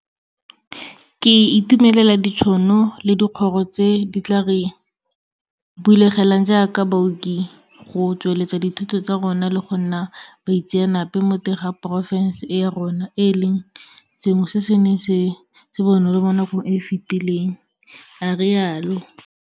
Ke itumelela ditšhono le dikgoro tse di tla re bulegelang jaaka baoki go tsweletsa dithuto tsa rona le go nna baitseanape mo teng ga porofešene e ya rona, e leng sengwe se se neng se se bonolo mo nakong e e fetileng, a rialo.